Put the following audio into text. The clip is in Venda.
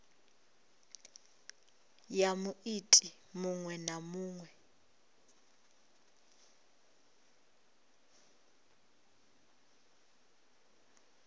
ya muiti muṅwe na muṅwe